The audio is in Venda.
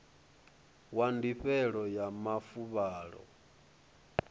wa ndifhelo ya mafuvhalo a